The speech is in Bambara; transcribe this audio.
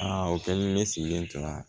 Aa o kɛlen ne sigilen tun